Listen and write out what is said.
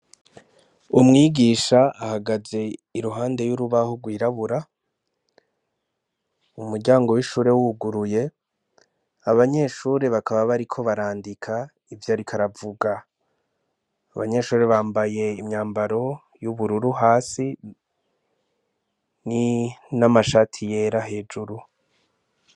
Umwigisha ahagaze iruhande y'urubaho rwirabura umuryango w'ishure wuguruye abanyeshure bakaba bariko barandika ivyo rikaravuga abanyeshure bambaye imyambaro y'ubururu hasi ni n'amashati yera hejuru.